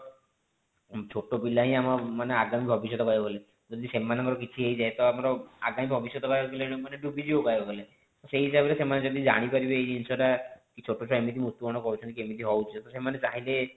ଛୋଟ ପିଲା ହିଁ ଆମ ମାନେ ଆଗାମୀ ଭବିଷ୍ୟତ କହିବାକୁ ଗଲେ ତ ଯଦି ସେମାନଙ୍କର କିଛି ହେଇଯାଏ ତ ଆମର ଆଗାମୀ ଭବିଷ୍ୟତ କହିବାକୁ ଗଲେ ଡୁବି ଯିବ କହିବାକୁ ଗଲେ ତ ସେଇ ହିସାବରେ ସେମାନେ ଯଦି ଜାଣି ପାରିବେ ଏଇ ଜିନିଷ ଟା କି ଛୋଟ ଛୁଆ ଏମିତି ମୃତ୍ୟୁ ବରଣ କରୁଛନ୍ତି କି ଏମିତି ହୋଉଛି ତ ସେମାନେ ଚାହିଁଲେ